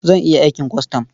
Zan iya aikin kwastam.